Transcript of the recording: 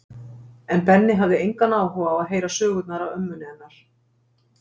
En Benni hafði engan áhuga á að heyra sögurnar af ömmunni hennar